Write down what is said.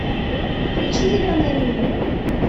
включи зеленая миля